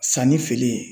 Sanni feere